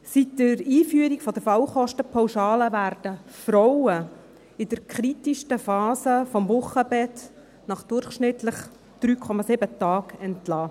Seit der Einführung der Fallkostenpauschalen werden Frauen in der kritischsten Phase des Wochenbetts nach durchschnittlich 3,7 Tagen entlassen.